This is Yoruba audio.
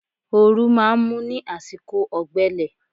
Oòrùn máa ń mú ní àsìkò ọ̀gbẹlẹ̀